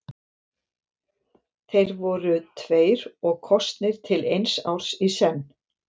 Þeir voru tveir og kosnir til eins árs í senn.